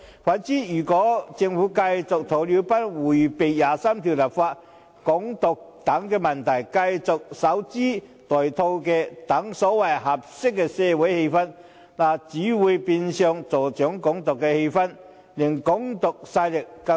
相反，如果政府繼續如鴕鳥般迴避第二十三條立法、"港獨"等問題，繼續守株待兔，等待所謂"合適的社會氛圍"，只會變相助長"港獨"氣焰，令"港獨"勢力更囂張。